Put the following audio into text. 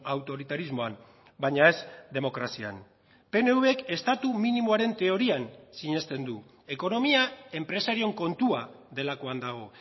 autoritarismoan baina ez demokrazian pnvk estatu minimoaren teorian sinesten du ekonomia enpresarioen kontua delakoan dago